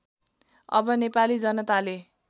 अब नेपाली जनताले